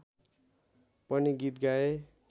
पनि गीत गाए